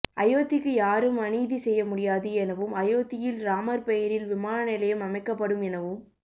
அயோத்திக்கு யாரும் அநீதி செய்ய முடியாது எனவும் அயோத்தியில் ராமர் பெயரில் விமான நிலையம் அமைக்கப்படும் எனவும்